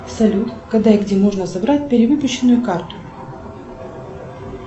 салют когда и где можно забрать перевыпущенную карту